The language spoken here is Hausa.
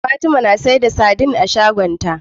Fatima na siyar da sadin a shagon ta